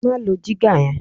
Má lo jígà yẹn!